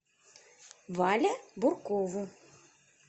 вале буркову